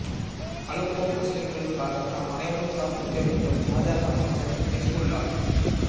Aleppo முஸ்லிம்களுக்காக நாம் அனைவரும் பிரார்த்திக்க வேண்டும் இராஜாங்க அமைச்சர் ஹிஸ்புல்லாஹ்